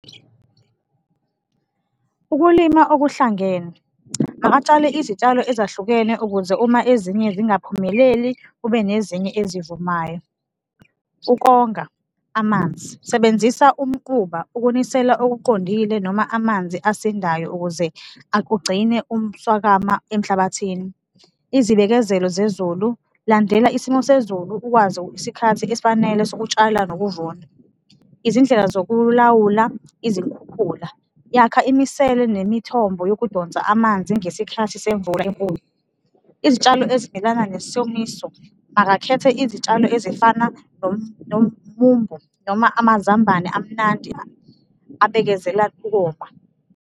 Ukulima okuhlangene, akatshale izitshalo ezahlukene ukuze uma ezinye zingaphumeleli, kube nezinye ezivumayo. Ukonga amanzi, sebenzisa umquba, ukunisela okuqondile noma amanzi asindayo ukuze ugcine umswakama emhlabathini. Izibikezelo zezulu, landela isimo sezulu, ukwazi isikhathi esifanele sokutshala nokuvuna. Izindlela zokulawula izikhukhula, yakha imisele nemithombo yokudonsa amanzi ngesikhathi semvula enkulu. Izitshalo ezimelana nesomiso, akakhethe izitshalo ezifana nomumbo noma amazambane, amnandi, abekezela ukoma.